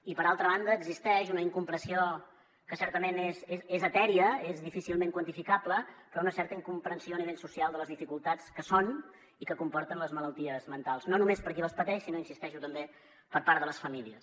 i per altra banda existeix una incomprensió que certament és etèria és difícilment quantificable però una certa incomprensió a nivell social de les dificultats que són i que comporten les malalties mentals no només per a qui les pateix sinó hi insisteixo per part de les famílies